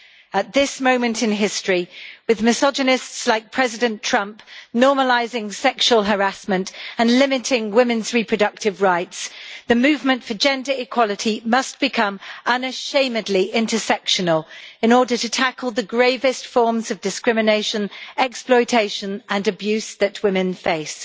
At this moment in history, with misogynists like President Trump normalising sexual harassment and limiting women's reproductive rights, the movement for gender equality must become unashamedly intersectional, in order to tackle the gravest forms of discrimination, exploitation and abuse that women face.